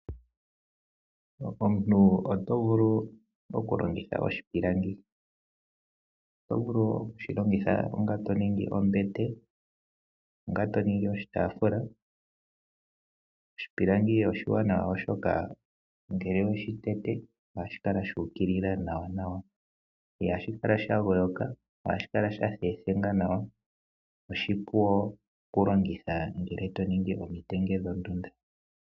Omuntu oto vulu okulongitha oshipilangi, oto vulu oku shi longitha onga to ningi ombete, to ningi oshitaafula. Oshipilangi oshiwanawa, oshoka ngele we shi tete ohashi kala shuukilila nawanawa. Ihashi kala shagooka ohashi kala sha thethenga nawa oshipu okulongitha ngele to ningi omitenge dhondunda.